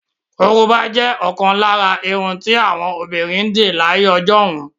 Korobá jẹ́ ọ̀kan lára àrà irun tí àwọn obìnrin ń dì láyé ọjọ́hun.